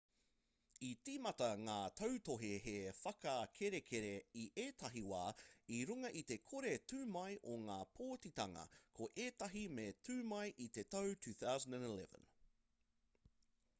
i tīmata ngā tautohe he whakarekereke i ētahi wā i runga i te kore tū mai o ngā pōtitanga ko ētahi me tū mai i te tau 2011